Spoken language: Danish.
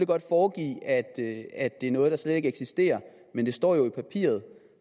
godt foregive at det er noget der slet ikke eksisterer men det står jo i papiret